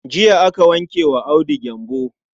Jiya aka wanke wa Audu gyambo.